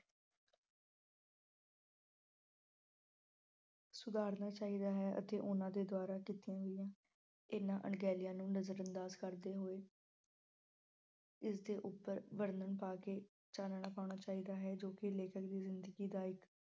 ਸੁਧਾਰਨਾ ਚਾਹੀਦਾ ਹੈ ਅਤੇ ਉਹਨਾਂ ਦੇ ਦੁਆਰਾ ਕੀਤੀਆਂ ਗਈਆਂ ਇਹਨਾਂ ਅਣਗਹਿਲੀਆਂ ਨੂੰ ਨਜ਼ਰਅੰਦਾਜ ਕਰਦੇ ਹੋਏ ਇਸ ਦੇ ਉਪਰ ਵਰਣਨ ਪਾ ਕੇ ਚਾਨਣਾ ਪਾਉਣਾ ਚਾਹੀਦਾ ਹੈ ਜੋ ਕਿ ਲੇਖਕ ਦੀ ਜਿੰਦਗੀ ਦਾ ਇੱਕ